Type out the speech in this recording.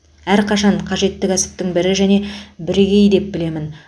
әрқашан қажетті кәсіптің бірі және бірегейі деп білемін